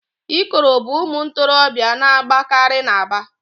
Ikoro bụ ụmụ ntorobịa na-agbakari n'Aba.